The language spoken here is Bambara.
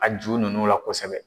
A ju nunnu la kosɛbɛ.